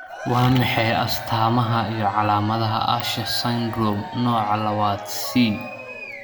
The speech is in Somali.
Waa maxay astamaha iyo calaamadaha Usher syndrome, nooca labaad C?